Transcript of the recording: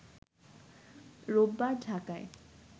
রোববার ঢাকায়